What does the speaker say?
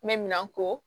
N bɛ minan ko